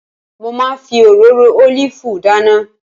Mo máa ń fi òróró ólìfù dáná